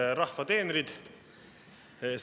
Head rahva teenrid!